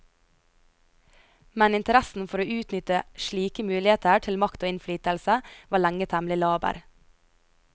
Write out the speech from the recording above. Men interessen for å utnytte slike muligheter til makt og innflytelse, var lenge temmelig laber.